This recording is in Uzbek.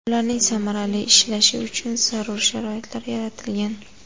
Ularning samarali ishlashi uchun zarur sharoitlar yaratilgan.